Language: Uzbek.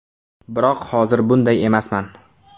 Biroq hozir bunday emasman”.